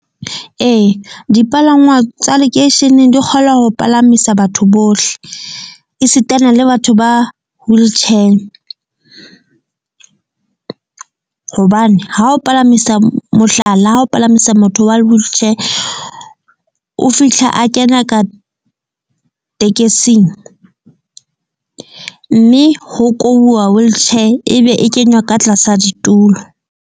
Ee, dipalangwang tsa lekeisheneng di kgona ho palamisa batho bohle esitana le batho ba wheelchair. Hobane ha o palamisa mohlala ha o palamisa motho wa wheelchair, o fihla a kena ka tekesing, mme ho kobuwa wheelchair e be e kenywa ka tlasa ditulo.